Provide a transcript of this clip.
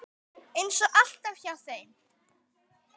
Eins og alltaf hjá þeim.